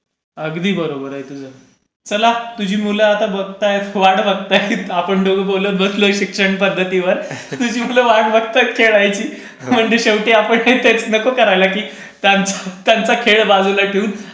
अगदी बरोबर आहे, चला, तुमची मुलं आता बघतायत वाट बघतायत. आपण दोघे बोलत बसलोय शिक्षण पध्दतीवर तुझी मुलं वाट बघतायत खेळायची. म्हणजे आपण शेवटी तेच नको करायला की त्यांचा हक्काचा खेळ बाजूला ठेवून आपण ते शिक्षण पध्दतीवरही